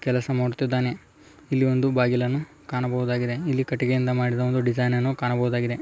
ಕೆಲಸ ಮಾಡುತ್ತಿದ್ದಾನೆ ಇಲ್ಲಿ ಒಂದ ಬಾಗಿಲನ್ನು ಕಾಣಬಹುದಾಗಿದೆ ಇಲ್ಲಿ ಕಟ್ಟಿಗೆಯಿಂದ ಮಾಡಿದ ಡಿಸೈನ್‌ ನ್ನು ಕಾಣಬಹುದಾಗಿದೆ.